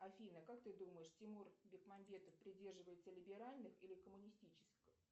афина как ты думаешь тимур бекмамбетов придерживается либеральных или коммунистических